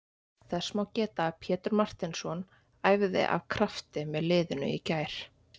Þess má geta að Pétur Marteinsson æfði af krafti með liðinu í gær.